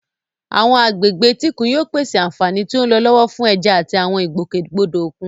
Àwọn agbègbè etíkun yóò pèsè àfààní tí ó ń lọ lọ́wọ́ fún ẹja àti àwọn ìgbòkègbodò òkun.